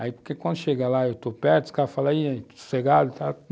Aí porque quando chega lá e eu estou perto, os caras falam aí, estou sossegado e tal.